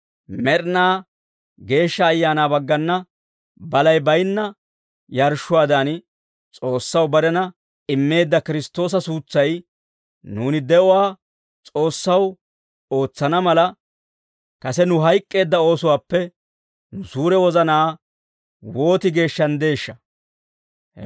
Med'inaa Geeshsha Ayaanaa baggana balay baynna yarshshuwaadan, S'oossaw barena immeedda Kiristtoosa suutsay, nuuni de'uwaa S'oossaw ootsana mala, kase nu hayk'k'eedda oosuwaappe nu suure wozanaa wooti geeshshanddeeshsha!